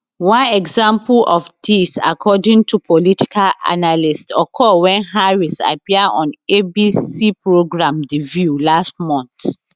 one example of dis according to political analysts occur wen harris appear on abc programme the view last month